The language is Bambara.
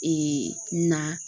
Ee na